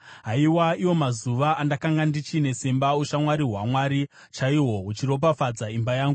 Haiwa, iwo mazuva andakanga ndichine simba, ushamwari hwaMwari chaihwo huchiropafadza imba yangu,